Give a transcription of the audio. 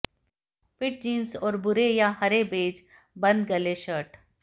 fit jeans और भूरे या हरे बेज बंद गले शर्ट